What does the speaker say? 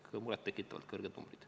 Need on muret tekitavalt kõrged punktid.